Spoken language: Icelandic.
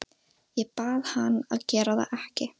Ég bað hann að gera það ekki.